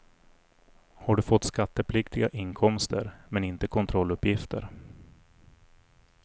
Har du fått skattepliktiga inkomster, men inte kontrolluppgifter?